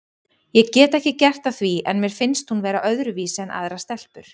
Ég get ekki gert að því en mér finnst hún vera öðruvísi en aðrar stelpur.